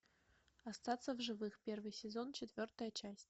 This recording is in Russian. остаться в живых первый сезон четвертая часть